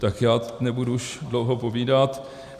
Tak já nebudu už dlouho povídat.